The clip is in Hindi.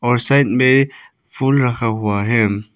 और साइड में फुल रखा हुआ है।